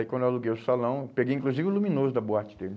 Aí quando eu aluguei o salão, peguei inclusive o luminoso da boate dele.